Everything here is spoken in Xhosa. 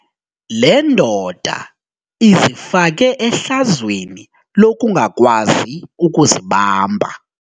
Le ndoda izifake ehlazweni lokungakwazi ukuzibamba.